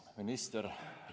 Hea minister!